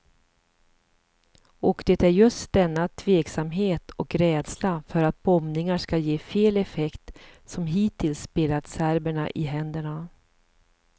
Och det är just denna tveksamhet och rädsla för att bombningar skall ge fel effekt som hittills spelat serberna i händerna.